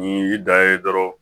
Ni y'i da ye dɔrɔn